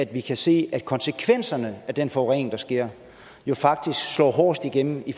vi kan se at konsekvenserne af den forurening der sker faktisk står hårdest igennem i